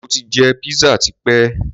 Mo ti jẹ pizza tipé.